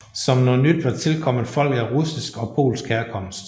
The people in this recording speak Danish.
Som noget nyt var tilkommet folk af russisk og polsk herkomst